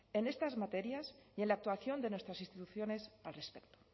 en estas materias y en la actuación de nuestras instituciones al respecto